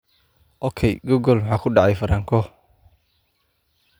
ok google maxaa ku dhacay franco